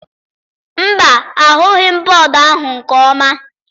Mba, ahụghị m bọọdụ ahụ nke ọma.